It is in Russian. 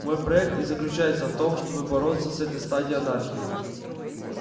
мой проект и заключается в том чтобы бороться с этой стадией анархии